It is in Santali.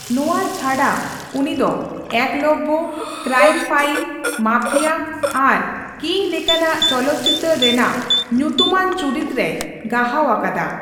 ᱱᱚᱣᱟ ᱪᱷᱟᱰᱟ ᱩᱱᱤ ᱫᱚ ᱮᱠᱞᱚᱵᱽᱵᱚ, ᱠᱨᱟᱭᱤᱢ ᱯᱷᱟᱭᱤᱞ, ᱢᱟᱯᱷᱤᱭᱟ ᱟᱨ ᱠᱤᱝ ᱞᱮᱠᱟᱱᱟᱜ ᱪᱚᱞᱚᱛ ᱪᱤᱛᱟᱹᱨ ᱨᱮᱱᱟᱜ ᱧᱩᱛᱩᱢᱟᱱ ᱪᱩᱨᱤᱛ ᱨᱮᱭ ᱜᱟᱦᱟᱣ ᱟᱠᱟᱫᱟ ᱾